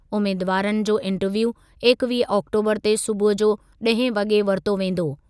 उमेदवारनि जो इंटरव्यू इकवीह आक्टोबरु ते सूबुह जो ॾहें वॻे वरितो वेंदो।